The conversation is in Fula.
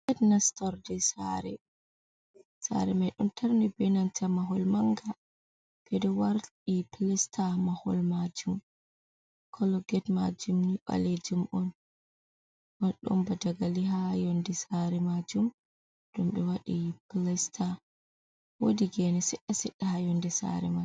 Get nastorde saare. Saare mai ɗon tarni be nanta mahol manga ɓe waɗi pilasta mahol majuum, colo get majuum ni ɓalejuum on maldomba dagali ha yonde saare majuum ɗum ɗo wadi pilasta woqdi gene sedda ha yonde saare mai.